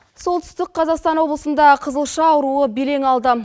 солтүстік қазақстан облысында қызылша ауруы белең алды